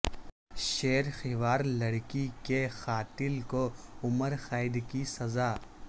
شیر خوار لڑکی کے قاتل کو عمر قید کی سزاء